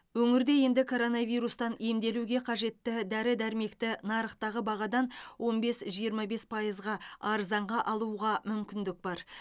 өңірде енді коронавирустан емделуге қажетті дәрі дәрмекті нарықтағы бағадан он бес жиырма бсе пайызға арзанға алуға мүмкіндік бар